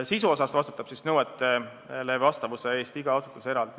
Sisu poolest vastutab nõuetele vastavuse eest iga asutus eraldi.